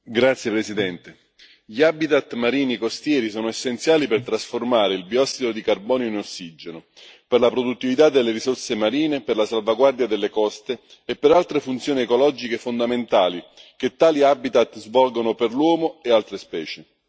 Signor Presidente, onorevoli colleghi, gli habitat marini costieri sono essenziali per trasformare il biossido di carbonio in ossigeno, per la produttività delle risorse marine, per la salvaguardia delle coste e per altre funzioni ecologiche fondamentali che tali habitat svolgono per l'uomo e altre specie.